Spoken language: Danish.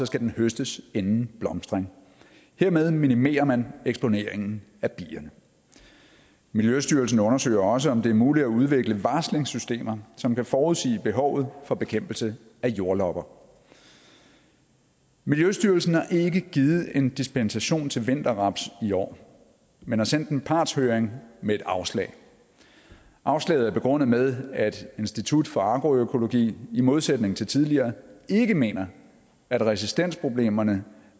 skal den høstes inden blomstring hermed minimerer man eksponeringen af bierne miljøstyrelsen undersøger også om det er muligt at udvikle varslingssystemer som kan forudsige behovet for bekæmpelse af jordlopper miljøstyrelsen har ikke givet en dispensation til vinterraps i år men har sendt en partshøring med et afslag afslaget er begrundet med at institut for agroøkologi i modsætning til tidligere ikke mener at resistensproblemerne